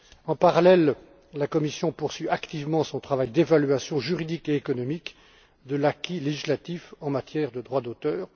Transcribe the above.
En parallèle, la Commission poursuit activement son travail d'évaluation juridique et économique de l'acquis législatif en matière de droit d'auteur.